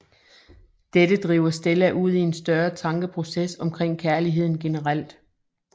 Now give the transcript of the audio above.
Dette driver Stella ud i en større tankeproces omkring kærligheden generelt